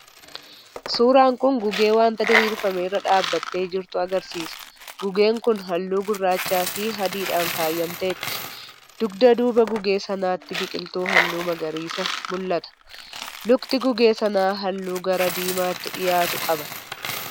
Suuraan kun gugee wanta diriirfame irra dhaabattee jirtu agarsiisa. Gugeen kun halluu gurraacha fi adiidhaan faayamteetti. Dugda duuba gugee sanaatti biqiltuu halluu magariisa mul'ata. Lukti gugee sanaa halluu gara diimaatti dhiyaatu qaba.